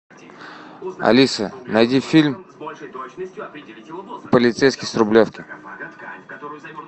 алиса найди фильм полицейский с рублевки